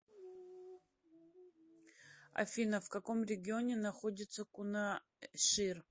афина в каком регионе находится кунашир